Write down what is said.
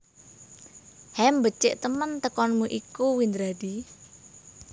Hem becik temen tekonmu iku Windradi